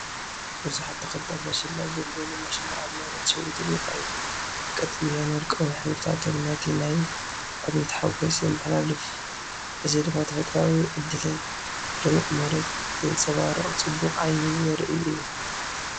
ብዙሓት ተኽልታት መሸላ (ጉምብሉ መሸላ) ኣብ መሬት ሸዊቶም ይረኣዩ። ቀጠልያን ወርቃውን ሕብርታቶም ነቲ ናይ ዕብየት ሓጐስ የመሓላልፍ፣ እዚ ድማ ተፈጥሮኣዊ ዕድልን ልሙዕ መሬትን ዘንጸባርቕ ጽቡቕ ዓይኒ ዘርእን እዩ።